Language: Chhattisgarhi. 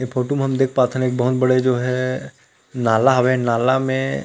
ये फोटु में हम देख पा थन एक बहुत बड़े जो हे नाला हे हवे नाला में--